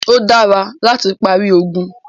Ó dára láti parí ogun.